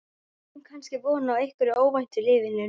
Við eigum kannski von á einhverju óvæntu í lífinu núna?